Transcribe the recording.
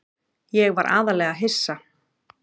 Ég var aðallega hissa.